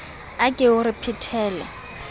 a ke o re phetele